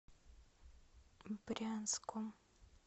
брянском